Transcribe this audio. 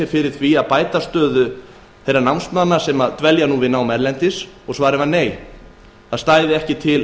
fyrir að bæta stöðu námsmanna erlendis var svarið nei það stæði ekki til